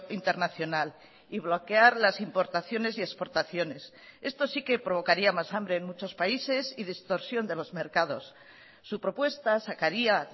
internacional y bloquear las importaciones y exportaciones esto sí que provocaría más hambre en muchos países y distorsión de los mercados su propuesta sacaría